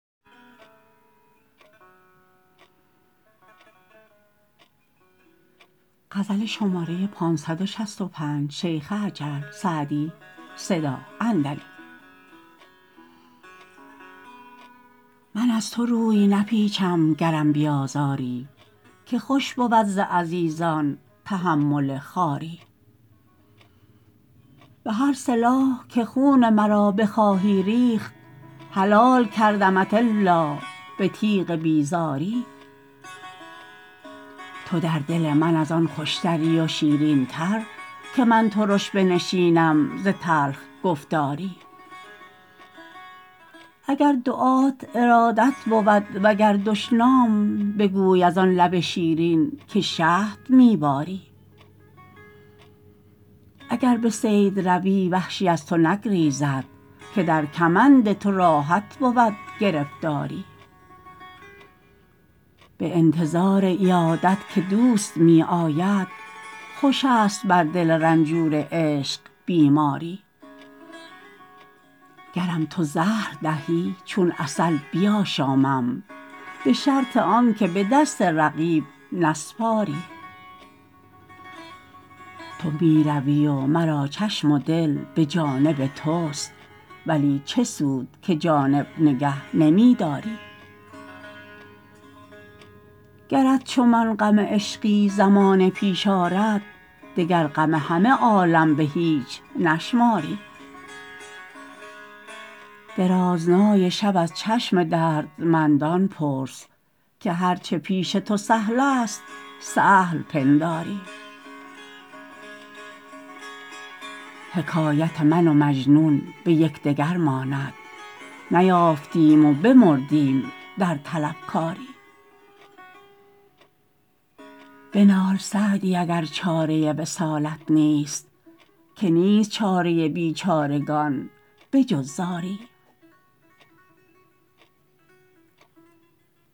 من از تو روی نپیچم گرم بیازاری که خوش بود ز عزیزان تحمل خواری به هر سلاح که خون مرا بخواهی ریخت حلال کردمت الا به تیغ بیزاری تو در دل من از آن خوشتری و شیرین تر که من ترش بنشینم ز تلخ گفتاری اگر دعات ارادت بود و گر دشنام بگوی از آن لب شیرین که شهد می باری اگر به صید روی وحشی از تو نگریزد که در کمند تو راحت بود گرفتاری به انتظار عیادت که دوست می آید خوش است بر دل رنجور عشق بیماری گرم تو زهر دهی چون عسل بیاشامم به شرط آن که به دست رقیب نسپاری تو می روی و مرا چشم و دل به جانب توست ولی چه سود که جانب نگه نمی داری گرت چو من غم عشقی زمانه پیش آرد دگر غم همه عالم به هیچ نشماری درازنای شب از چشم دردمندان پرس که هر چه پیش تو سهل است سهل پنداری حکایت من و مجنون به یکدگر ماند نیافتیم و بمردیم در طلبکاری بنال سعدی اگر چاره وصالت نیست که نیست چاره بیچارگان به جز زاری